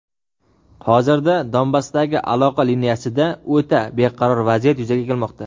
hozirda Donbassdagi aloqa liniyasida o‘ta beqaror vaziyat yuzaga kelmoqda.